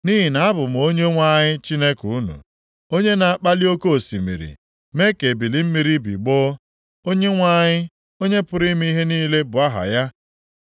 Nʼihi na abụ m Onyenwe anyị Chineke unu, onye na-akpali oke osimiri mee ka ebili mmiri ya bigbọọ, Onyenwe anyị, Onye pụrụ ime ihe niile bụ aha ya.